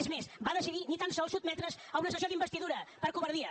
és més va decidir ni tan sols sotmetre’s a una sessió d’investidura per covardia